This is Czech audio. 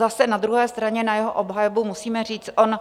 Zase na druhé straně na jeho obhajobu musíme říct: on